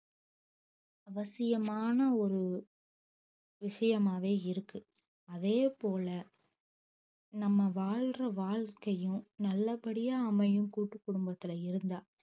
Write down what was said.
அவசியமான ஒரு விஷயமாவே இருக்கு அதே போல நம்ம வாழ்ற வாழ்க்கையும் நல்லபடியா அமையும் கூட்டுக்குடும்பத்துள இருந்தா